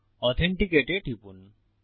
authenticate এ টিপুন